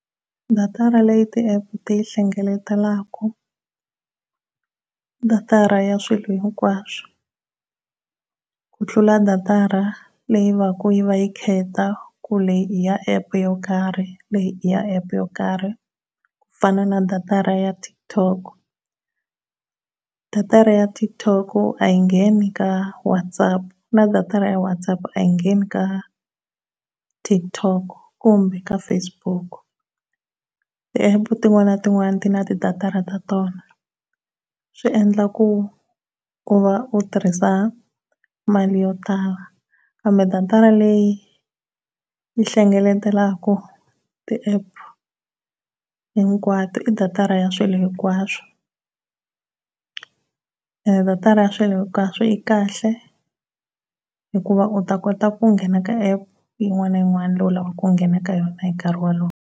Datara leyi ti app ti yi hlengeletelaku datara ya swilo hinkwaswo ku tlula datara leyi va ku yi va yi khetha ku leyi i ya app yo karhi leyi i ya app yo karhi ku fana na datara ya Tik Tok. Datara ya Tik Tok a yi ngeni ka Whatsapp na datara ya Whatsapp a yi ngeni ka Tik Tok kumbe ka Facebook, ti app tin'wani na tin'wani ti na ti datara ta tona swi endla ku ku va u tirhisa mali yo tala kambe datara leyi hlengeletaka ti app hinkwato i datara ya swilo hinkwaswo. Datara ya swilo hinkwaso yi kahle hikuva u ta kota ku nghena ka app yin'wana na yin'wana leyi lavaka ku ngheni ka yona hi nkarhi wolowo.